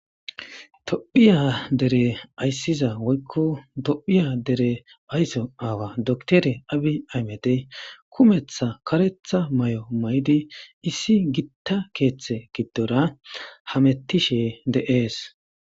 dophiya dere ayssiza woykko dophiya dere aysso aawa doktere abi aymedey kumetha karetha may7o may7di issi gitta keeththe giddora hamettishe de7ees